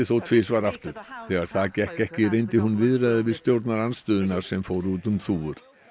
þó tvisvar aftur þegar það gekk ekki reyndi hún viðræður við stjórnarandstöðuna sem fóru út um þúfur